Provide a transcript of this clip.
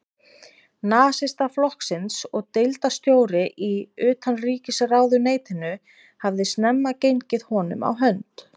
Nasistaflokksins og deildarstjóri í utanríkisráðuneytinu, hafði snemma gengið honum á hönd.